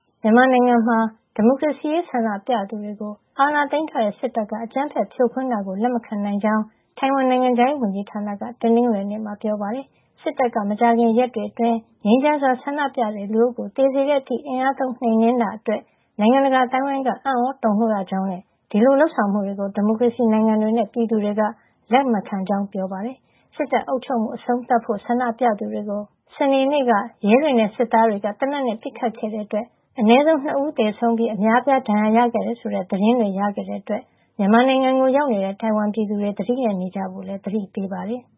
မြန်မာနိုင်ငံမှာ ဒီမိုကရေစီရေး ဆန္ဒပြသူတွေကို အာဏာသိမ်းထားတဲ့ စစ်တပ်က အကြမ်းဖက်ဖြိုခွင်းတာကို လက်မခံနိုင်ကြောင်း ထိုင်ဝမ် နိုင်ငံခြားရေးဝန်ကြီးဌာနက တနင်္ဂနွေနေ့မှာ ပြောပါတယ်။ စစ်တပ်က မကြာခင်ရက်တွေအတွင်း ငြိမ်းချမ်းစွာဆန္ဒပြတဲ့ လူအုပ်ကို သေစေတဲ့အထိ အင်အားသုံး နှိမ်နင်းတာအတွက် နိုင်ငံတကာအသိုင်းအဝိုင်းက အံ့သြတုန်လှုပ်ရကြောင်းနဲ့ ဒီလိုလုပ်ဆောင်မှုတွေကို ဒီမိုကရေစီနိုင်ငံတွေနဲ့ ပြည်သူတွေက လက်ခံမှာမဟုတ်ကြောင်းလည်း ပြောပါတယ်။ စစ်တပ်အုပ်ချုပ်မှု အဆုံးသတ်ဖို့ ဆန္ဒပြသူတွေကို စနေနေ့က ရဲတွေနဲ့ စစ်သားတွေက သေနတ်နဲ့ ပစ်ခတ်ခဲ့တဲ့အတွက် အနည်းဆုံး ၂ ယောက်သေဆုံးပြီး အများအပြား ဒဏ်ရာရခဲ့တယ်ဆိုတဲ့ သတင်းတွေ ရခဲ့တဲ့အတွက် မြန်မာနိုင်ငံကို ရောက်နေတဲ့ ထိုင်ဝမ်ပြည်သူတွေ သတိနဲ့နေကြဖို့လည်း သတိပေးပါတယ်။